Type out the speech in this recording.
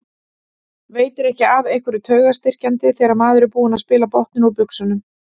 Veitir ekki af einhverju taugastyrkjandi þegar maður er búinn að spila botninn úr buxunum.